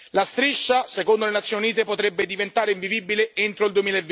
La striscia, secondo le Nazioni Unite, potrebbe diventare invivibile entro il